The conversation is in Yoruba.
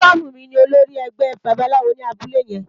Ifabunmi ni ólórì ègbè bàbáláwó ni àbúlé yèn